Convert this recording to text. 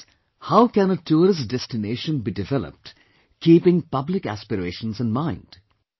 In other words, how can tourist destination be developed keeping public aspirations in mind